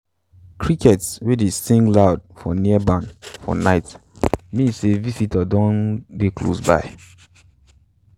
crickets wey dey sing loud for near barn for night mean say visitor don dey close by.